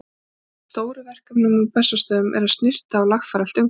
Eitt af stórum verkefnum á Bessastöðum er að snyrta og lagfæra allt umhverfi.